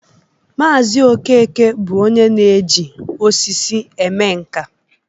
Maazi Okeke bụ onye na-eji osisi eme nka